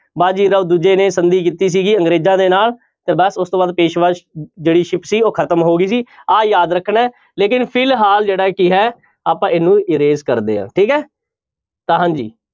ਬਾਜੀਰਾਓ ਦੂਜੇ ਨੇ ਸੰਧੀ ਕੀਤੀ ਸੀਗੀ ਅੰਗਰੇਜ਼ਾਂ ਦੇ ਨਾਲ ਤੇ ਬਸ ਉਸ ਤੋਂ ਬਾਅਦ ਪੇਸਵਾ ਜਿਹੜੀ ਸੀ ਉਹ ਖ਼ਤਮ ਹੋ ਗਈ ਸੀ ਆਹ ਯਾਦ ਰੱਖਣਾ ਹੈ ਲੇਕਿੰਨ ਫਿਲਹਾਲ ਜਿਹੜਾ ਕੀ ਹੈ ਆਪਾਂ ਇਹਨੂੰ erase ਕਰਦੇ ਹਾਂ ਠੀਕ ਹੈ ਤਾਂ ਹਾਂਜੀ।